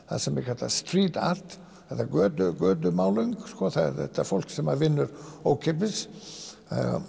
sem er kallað Street art eða þetta fólk sem vinnur ókeypis